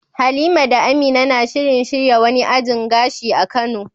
Halima da Amina na shirin shirya wani ajin gashi a kano.